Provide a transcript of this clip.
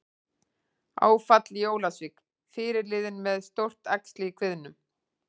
Áfall í Ólafsvík- Fyrirliðinn með stórt æxli í kviðnum